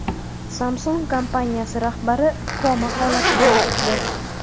Samsung kompaniyasi rahbari koma holatidan chiqdi.